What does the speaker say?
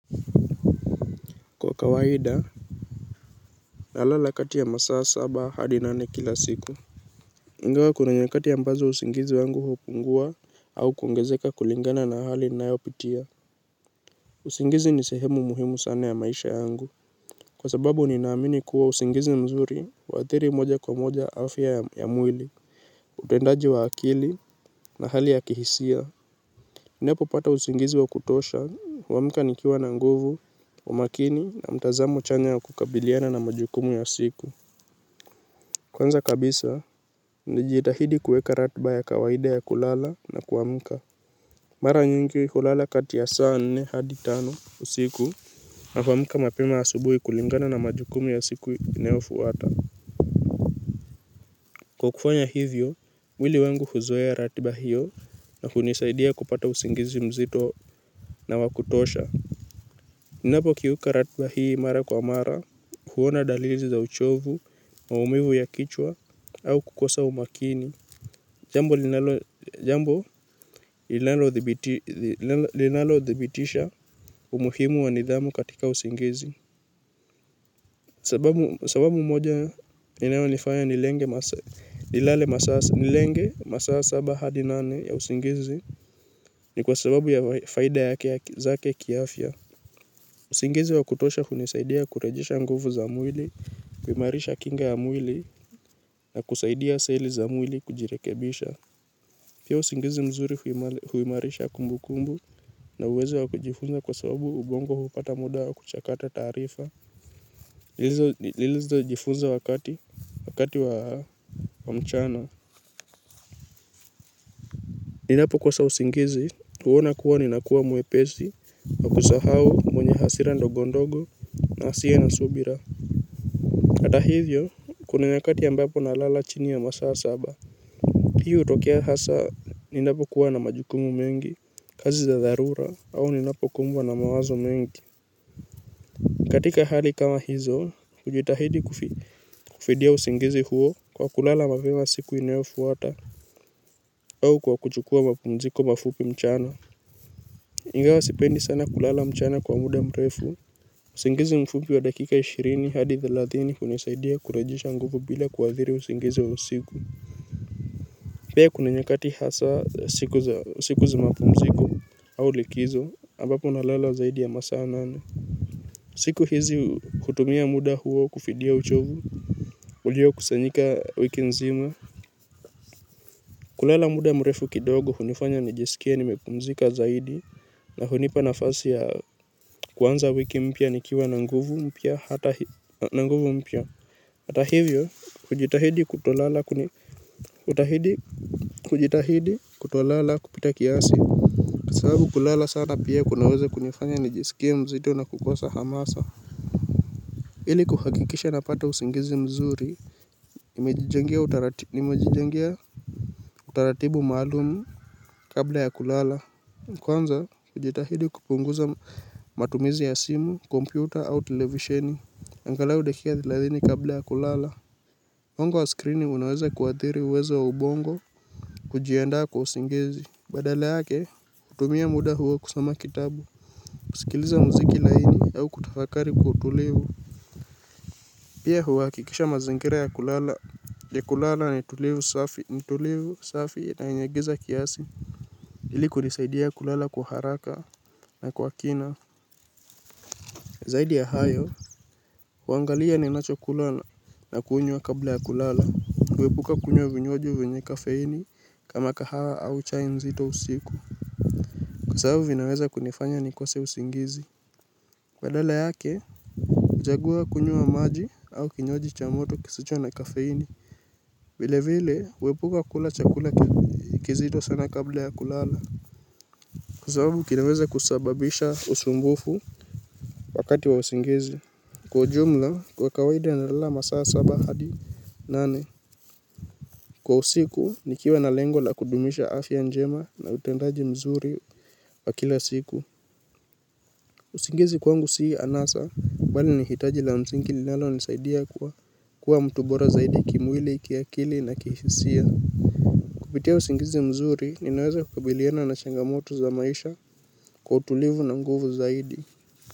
Kwa kawaida nalala kati ya masaa saba hadi nane kila siku ingawa kuna nyakati ambazo usingizi wangu hupungua au kuongezeka kulingana na hali ninayopitia. Usingizi ni sehemu muhimu sana ya maisha yangu. Kwa sababu ninaamini kuwa usingizi mzuri wa huathiri moja kwa moja afya ya mwili utendaji wa akili na hali ya kihisia. Ninapopata usingizi wa kutosha, huamka nikiwa na nguvu, umakini na mtazamo chanya ya kukabiliana na majukumu ya siku. Kwanza kabisa, nijitahidi kuweka ratiba ya kawaida ya kulala na kuamka. Mara nyingi kulala kati ya saa nne hadi tano usiku na kuamka mapema asubuhi kulingana na majukumu ya siku inayofuata. Kwa kufanya hivyo, mwili wangu huzoea ratiba hiyo na kunisaidia kupata usingizi mzito na wa kutosha. Ninapokiuka ratiba hii mara kwa mara, huona dalili za uchovu, maumivu ya kichwa au kukosa umakini. Jambo linalodhibitisha umuhimu wa nidhamu katika usingizi Sababu moja inayonifanya nilenge masaa saba hadi nane ya usingizi ni kwa sababu ya faida zake kiafya. Usingizi wa kutosha hunisaidia kurejesha nguvu za mwili, kuimarisha kinga ya mwili na kusaidia seli za mwili kujirekebisha. Pia usingizi mzuri huimarisha kumbukumbu na uwezo wa kujifunza kwa sababu ubongo hupata muda wa kuchakata taarifa lilizojifunza wakati wa mchana. Ninapokosa usingizi, huona kuwa ninakuwa mwepesi, wa kusahau mwenye hasira ndogondogo na asiye na subira. Hata hivyo kuna wakati ambapo nalala chini ya masaa saba. Hii hutokea hasa ninapokuwa na majukumu mengi, kazi za dharura, au ni napokumbwa na mawazo mengi. Katika hali kama hizo, hujitahidi kufidia usingizi huo kwa kulala mapema siku inayofuata au kwa kuchukua mapumziko mafupi mchana ingawa sipendi sana kulala mchana kwa muda mrefu. Usingizi mfupi wa dakika ishirini hadi thelathini hunisaidia kurejesha nguvu bila kuathiri usingizi wa usiku. Pia kuna nyakati hasa siku za mapumziko au likizo ambapo nalala zaidi ya masaa nane. Siku hizi hutumia muda huo kufidia uchovu uliokusanyika wiki nzima. Kulala muda mrefu kidogo hunifanya nijisikie nimepumzika zaidi na hunipa nafasi ya kuanza wiki mpya nikiwa na nguvu mpya hata hivyo hata hivyo hujitahidi kutolala kutahidi kujitahidi kutolala kupita kiasi. Kwa sababu kulala sana pia kunaweza kunifanya nijisikie mzito na kukosa hamasa ili kuhakikisha napata usingizi mzuri nimejijengea utaratibu maalumu kabla ya kulala kwanza hujitahidi kupunguza matumizi ya simu, kompyuta au televisheni angalau dakika thelathini kabla ya kulala. Mwanga wa skrini unaweza kuathiri uwezo wa ubongo. Kujiandaa kwa usingizi badala yake tumia muda huo kusoma kitabu. Kusikiliza muziki laini au kutafakari kwa utulivu. Pia huhakikisha mazingira ya kulala ni tulivu safi na yenye giza kiasi. Ili kunisaidia kulala kwa haraka na kwa kina zaidi ya hayo huangalia ninachokula na kunywa kabla ya kulala huepuka kunywa vinywaji vyenye kafeini kama kahawa au chai nzito usiku. Kwa sababu vinaweza kunifanya nikose usingizi badala yake, huchagua kunywa maji au kinywaji cha moto kisicho na kafeini vile vile, huepuka kula chakula kizito sana kabla ya kulala. Kwa sababu kinaweza kusababisha usumbufu wakati wa usingizi kwa ujumla, kwa kawaida nalala masaa saba hadi nane. Kwa usiku nikiwa na lengo la kudumisha afya njema na utendaji mzuri wa kila siku. Usingizi kwangu si anasa bali ni hitaji la msingi linalonisaidia kuwa mtu bora zaidi kimwili, kiakili na kihisia. Kupitia usingizi mzuri ninaweza kukabiliana na changamoto za maisha kwa utulivu na nguvu zaidi.